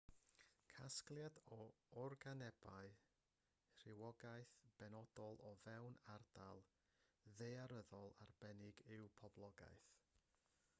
casgliad o organebau rhywogaeth benodol o fewn ardal ddaearyddol arbennig yw poblogaeth